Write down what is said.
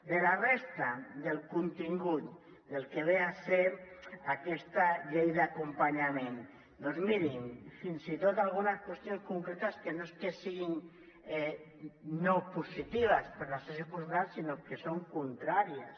de la resta del contingut del que ve a ser aquesta llei d’acompanyament doncs mirin fins i tot algunes qüestions concretes que no és que siguin no positives per a la circumstància actual sinó que són contràries